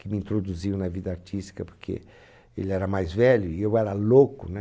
Que me introduziu na vida artística, porque ele era mais velho e eu era louco, né?